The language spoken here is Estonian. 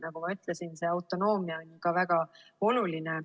Nagu ma ütlesin, autonoomia on ka väga oluline.